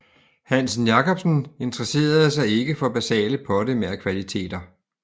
Hansen Jacobsen interesserede sig ikke for basale pottemagerkvaliteter